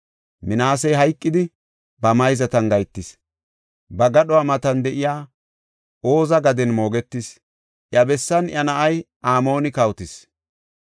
Minaasey hayqidi, ba mayzatan gahetis; ba gadhuwa matan de7iya Oza gaden moogetis; iya bessan iya na7ay Amooni kawotis.